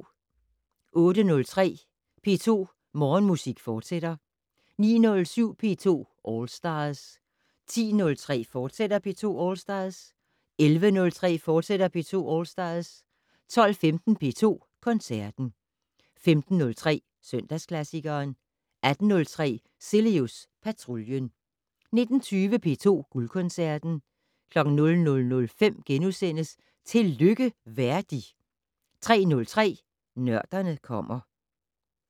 08:03: P2 Morgenmusik, fortsat 09:07: P2 All Stars 10:03: P2 All Stars, fortsat 11:03: P2 All Stars, fortsat 12:15: P2 Koncerten 15:03: Søndagsklassikeren 18:03: Cilius Patruljen 19:20: P2 Guldkoncerten 00:05: Tillykke Verdi * 03:03: Nørderne kommer